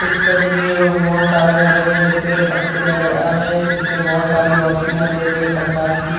इस तस्वीर में बहोत सारे हरे-भरे पेड़-पत्ते नजर आ रहे है जिसमें बहोत सारी रोशनियाँ दे रही है प्रकाश की।